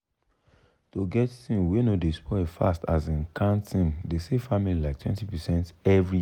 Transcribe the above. to get thing wey no dey spoil fast asin canned thing dey save family liketwentypercent every year.